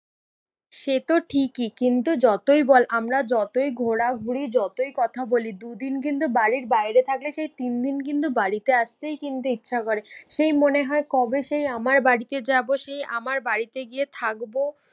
সেতো ঠিকই, কিন্তু যতই বল আমরা যতই ঘোরাঘুরি যতই কথা বলি দুদিন কিন্তু বাড়ির বাইরে থাকলে সেই তিনদিন কিন্তু বাড়িতে আসতেই কিন্তু ইচ্ছা করে। সেই মনে হয় কবে সেই আমার বাড়িতে যাবো সেই আমার বাড়িতে গিয়ে থাকবো।